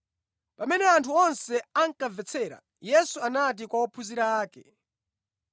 Pamene anthu onse ankamvetsera, Yesu anati kwa ophunzira ake,